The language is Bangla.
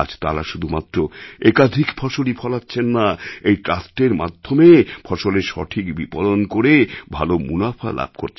আজ তারা শুধুমাত্র একাধিক ফসলই ফলাচ্ছেন না এই ট্রাস্টের মাধ্যমে ফসলের সঠিক বিপণন করে ভালো মুনাফা লাভ করছেন